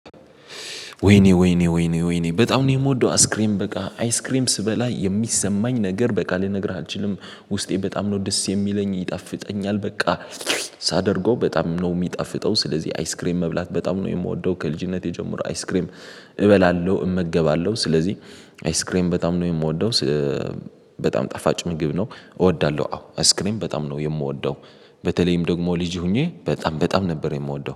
ወይኔ ወይኔ ወይኔ ወይኔ በጣም ነው የምወደው። አስክሬም በቃ አይስክሬም ስበላ የሚሰማኝ ነገር በቃ ልነግርህ አልችልም። ውስጤ በጣም ነው ደስ የሚለኝ ይጣፍጠኛል በቃ ሳደርገው በጣም ነው የሚጣፍጠው ስለዚህ አይስክሬም መብላት በጣም ነው የምወደው ከልጅነቴ ጀምሮ አይስክሬም እበላለሁ እመገባለሁ ስለዚህ አይስክሬም በጣም ነው የምወደው። በጣም ጠፋጭ ምግብ ነው። እወዳለሁ አዎ አይስክሬም በጣም ነው የምወደው። በተለይም ደግሞ ልጅ ሆኜ በጣም በጣም ነበር የምወደው